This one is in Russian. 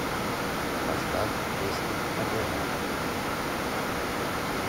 поставь песню алена